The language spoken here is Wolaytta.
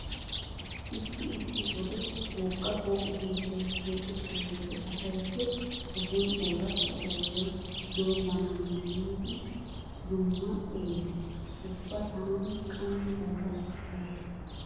Issi issi wode wogga pooqe keettay keexettiyo wode asay he sohan ooratta oosoy doommana hanees giidi dumma xeellees. Ubba taani qammi galla qoppays.